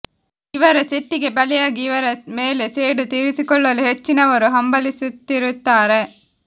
ಇವರ ಸಿಟ್ಟಿಗೆ ಬಲಿಯಾಗಿ ಇವರ ಮೇಲೆ ಸೇಡು ತೀರಿಸಿಕೊಳ್ಳಲು ಹೆಚ್ಚಿನವರು ಹಂಬಲಿಸುತ್ತಿರುತ್ತಾರೆ